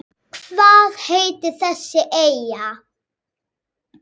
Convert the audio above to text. Hvað heitir þessi eyja?